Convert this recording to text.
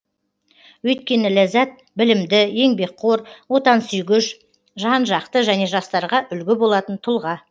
өйткені ләззат білімді еңбекқор отансүйгіш жан жақты және жастарға үлгі болатын тұлға